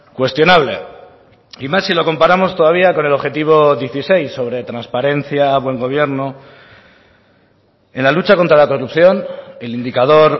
cuestionable y más si lo comparamos todavía con el objetivo dieciséis sobre transparencia buen gobierno en la lucha contra la corrupción el indicador